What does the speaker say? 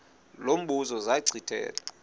lo mbuzo zachithela